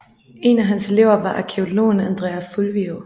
En af hans elever var arkæologen Andrea Fulvio